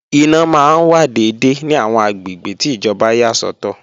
Iná máa wà dédé ní àwọn àgbègbè tí ìjọba yà sọ́tọ̀